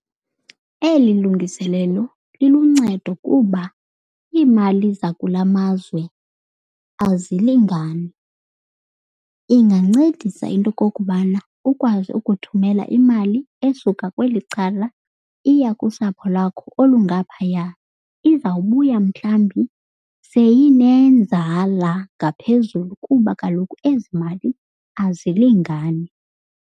Eli lungiselelo liluncedo kuba iimali zakula mazwe azilingani. Ingancedisa into yokokubana ukwazi ukuthumela imali esuka kweli cala iya kusapho lakho olungaphaya. Izawubuya mhlawumbi seyinenzala ngaphezulu kuba kaloku ezi mali azilingani.